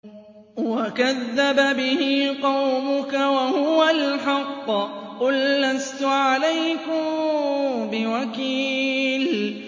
وَكَذَّبَ بِهِ قَوْمُكَ وَهُوَ الْحَقُّ ۚ قُل لَّسْتُ عَلَيْكُم بِوَكِيلٍ